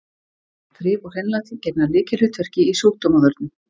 Þrif og hreinlæti gegna lykilhlutverki í sjúkdómavörnum.